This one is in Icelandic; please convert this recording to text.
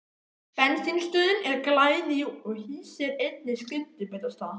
Bensínstöðin er glæný og hýsir einnig skyndibitastað.